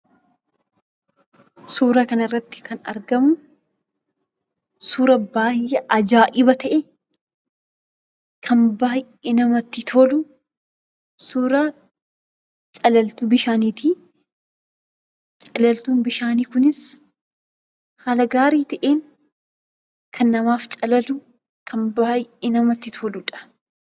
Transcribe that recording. Suuraa kanarratti kan argamu, suuraa baay'ee ajaa'iba ta'e, kan baay'ee namatti tolu, suuraa calaltuu bishaaniiti. Calaltuun bishaanii kunis, haala gaarii ta'een kan namaaf calalu, kan baay'ee namatti toludha.